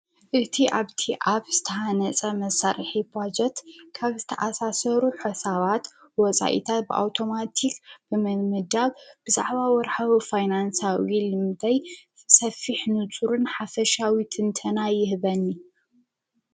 እቲ ኣብቲ ኣብ ስተሓነጸ መሠርሒ በጀት ካብ ዝተኣሣሠሩ ሕሳባት ወፃኢታት ብኣውቶማቲኽ ብመምዳግ ብዛዕባ ወርሐዊ ፋይናንሳዊ ብል ሠፊሕ ንፅሪን ሓፈሻዊ ትንተና ይህበኒ።